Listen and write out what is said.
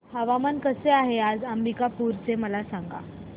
हवामान कसे आहे आज अंबिकापूर चे मला सांगा